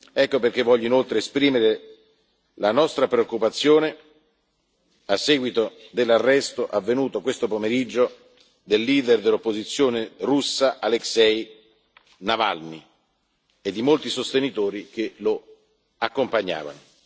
Ecco perché voglio inoltre esprimere la nostra preoccupazione a seguito dell'arresto, avvenuto questo pomeriggio, del leader dell'opposizione russa Alexei Navalny e di molti sostenitori che lo accompagnavano.